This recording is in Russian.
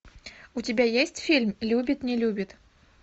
у тебя есть фильм любит не любит